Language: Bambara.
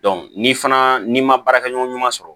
ni fana n'i ma baarakɛ ɲɔgɔn ɲuman sɔrɔ